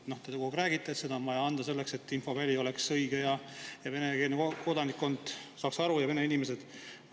Te kogu aeg räägite, et on vaja anda selleks, et infoväli oleks õige ja venekeelne kodanikkond, vene inimesed saaks sellest aru.